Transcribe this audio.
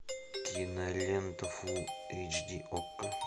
кинолента фулл эйч ди окко